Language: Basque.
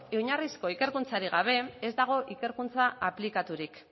oinarrizko ikerkuntzarik gabe ez dago ikerkuntza aplikaturik